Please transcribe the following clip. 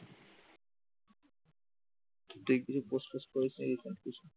তুই কিছু post ফহস্ত করিস নি recent?